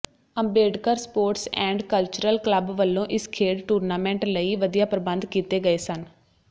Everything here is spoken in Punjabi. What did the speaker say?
Ambedkar sports and cultural club ਵੱਲੋਂ ਇਸ ਖੇਡ ਟੂਰਨਾਮੈਂਟ ਲਈ ਵਧੀਆ ਪ੍ਰਬੰਧ ਕੀਤੇ ਗਏ ਸਨ